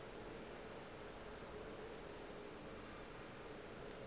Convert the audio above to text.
tše dingwe di na le